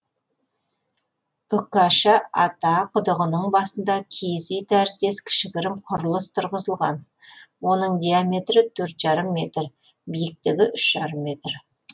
үкаша ата құдығының басында киіз үй тәріздес кішігірім құрылыс тұрғызылған оның диаметрі төрт жарым метр биіктігі үш жарым метр